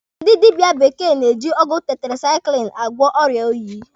Ndị dịbịa bekee na-eji ọgwụ tetirasaikilinu agwọ ọrịa oyi.